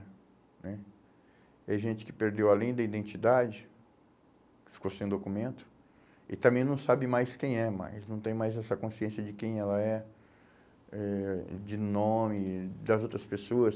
Né? Tem gente que perdeu além da identidade, que ficou sem documento, e também não sabe mais quem é mais, não tem mais essa consciência de quem ela é, eh de nome, das outras pessoas.